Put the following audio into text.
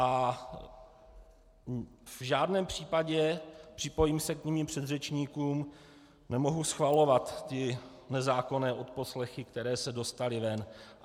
A v žádném případě, připojím se k svým předřečníkům, nemohu schvalovat ty nezákonné odposlechy, které se dostaly ven.